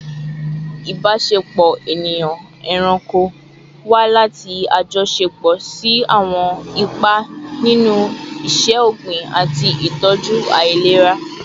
Ibasepo eniyan-eranko wa lati ajọṣepọ si awọn ipa ninu iṣẹ-ogbin ati itọju ailera